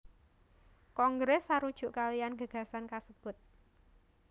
Kongres sarujuk kaliyan gagasan kasebut